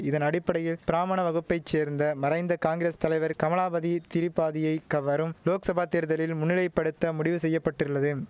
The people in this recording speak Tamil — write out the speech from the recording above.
இதன் அடிப்படையில் பிராமண வகுப்பை சேர்ந்த மறைந்த காங்கிரஸ் தலைவர் கமலாபதி திரிபாதியை கவரும் லோக்சபா தேர்தலில் முன்னிலை படுத்த முடிவு செய்யப்பட்டுர்ளதும்